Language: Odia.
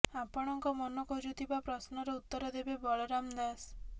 ଆପଣଙ୍କ ମନ ଖୋଜୁଥିବା ପ୍ରଶ୍ନର ଉତ୍ତର ଦେବେ ବଳରାମ ଦାସ